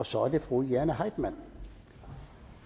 så er det fru jane heitmann